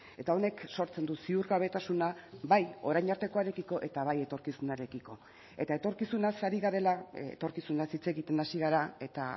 eta honek sortzen du ziurgabetasuna bai orain artekoarekiko eta bai etorkizunarekiko eta etorkizunaz ari garela etorkizunaz hitz egiten hasi gara eta